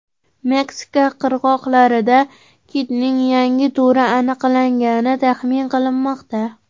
Meksika qirg‘oqlarida kitning yangi turi aniqlangani taxmin qilinmoqda.